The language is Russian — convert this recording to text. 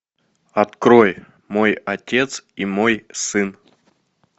открой мой отец и мой сын